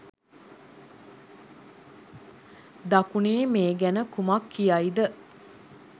දකුණේ මේ ගැන කුමක් කියයිද?